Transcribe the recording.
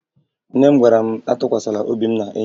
Nne m gwara m atụkwasala obi m n'enyi m